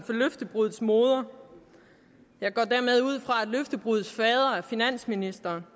for løftebruddets moder jeg går dermed ud fra at løftebruddets fader er finansministeren